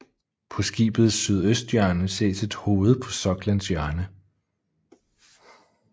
På skibets sydøsthjørne ses et hoved på soklens hjørne